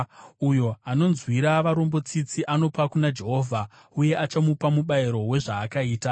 Uyo anonzwira varombo tsitsi anopa kuna Jehovha, uye achamupa mubayiro wezvaakaita.